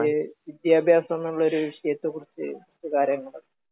എനിക്ക്...വിദ്യാഭ്യാസം എന്നുള്ള വിഷയത്തെക്കുറിച്ച് ഉള്ള കാര്യങ്ങള്..